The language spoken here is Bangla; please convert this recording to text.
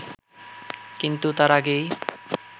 কিন্তু তার আগেই